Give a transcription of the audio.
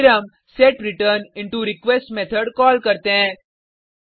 फिर हम सेट्रेचरनिंटरक्वेस्ट मेथड कॉल करते हैं